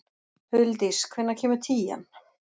Huldís, hvenær kemur tían?